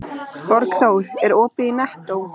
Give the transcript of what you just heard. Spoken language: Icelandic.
Borgþór, er opið í Nettó?